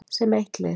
Sem eitt lið.